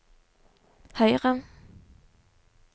høyre